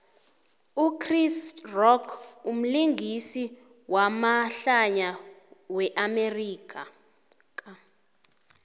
uchris rock umlingisi wamahlaya we amerika